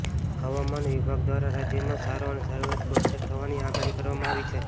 હવામાન વિભાગ દ્વારા રાજ્યમાં સારો અને સાર્વત્રિક વરસાદ થવાની આગાહી કરવામાં આવી છે